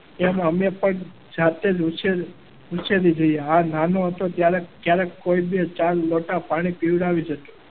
એમ અમે પણ જાતે જ પૂછી રહી જઈએ હા નાનો હતો ત્યારે ક્યારેક કોઈ બી ચાર લોટા પાણી પીવડાવી જ હતું.